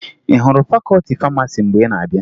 Ị hụrụ fakọọti famasi mgbe ị na-abịa?